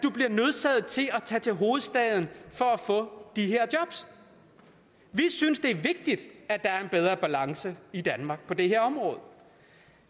tage til hovedstaden for at få de her jobs vi synes det er vigtigt at der er en bedre balance i danmark på det her område